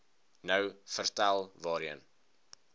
nou vertel waarheen